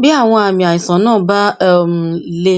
bí àwọn àmì àìsàn náà bá um le